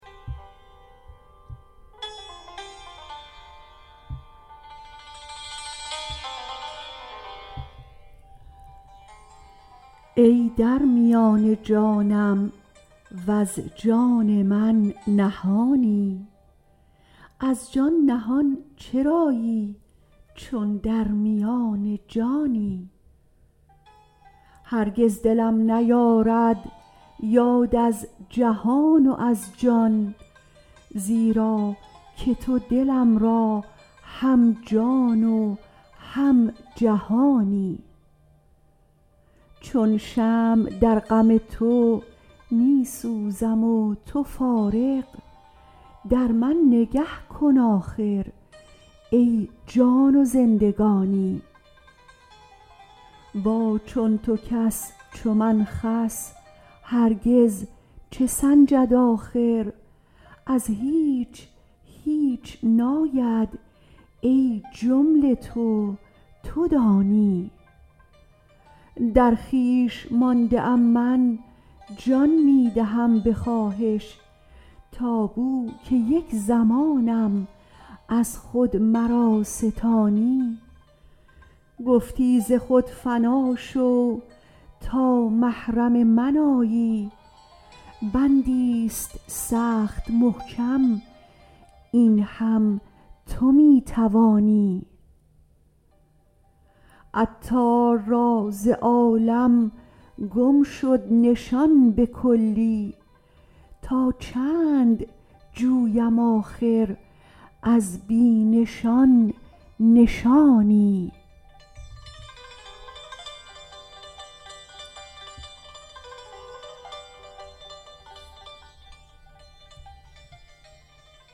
ای در میان جانم وز جان من نهانی از جان نهان چرایی چون در میان جانی هرگز دلم نیارد یاد از جهان و از جان زیرا که تو دلم را هم جان و هم جهانی چون شمع در غم تو می سوزم و تو فارغ در من نگه کن آخر ای جان و زندگانی با چون تو کس چو من خس هرگز چه سنجد آخر از هیچ هیچ ناید ای جمله تو تو دانی در خویش مانده ام من جان می دهم به خواهش تا بو که یک زمانم از خود مرا ستانی گفتی ز خود فنا شو تا محرم من آیی بندی است سخت محکم این هم تو می توانی عطار را ز عالم گم شد نشان به کلی تا چند جویم آخر از بی نشان نشانی